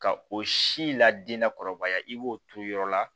Ka o si ladi lakɔrɔbaya i b'o turu yɔrɔ la